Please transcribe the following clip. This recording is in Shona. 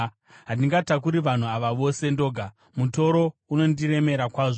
Handingatakuri vanhu ava vose ndoga; mutoro unondiremera kwazvo.